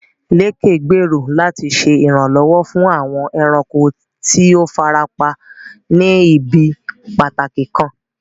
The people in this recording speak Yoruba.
Lékè gbèrò láti ṣe ìrànlọ́wọ́ fún àwọn ẹranko tí ó fara pa ní ibi pàtàkì kan.